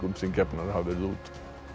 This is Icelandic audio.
sem gefnar hafa verið út